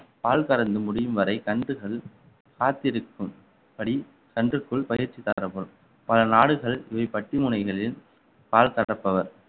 பால் கறந்து முடியும் வரை கன்றுகள் காத்திருக்கும்படி கன்றுக்குள் பயிற்சி தரப்படும் பல நாடுகள் இவை பட்டிமுனைகளில் பால் கறப்பவர்